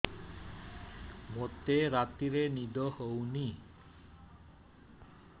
ମୋତେ ରାତିରେ ନିଦ ହେଉନି